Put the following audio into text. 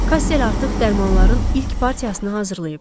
Kassel artıq dərmanların ilk partiyasını hazırlayıb.